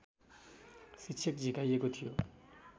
शिक्षक झिकाइएको थियो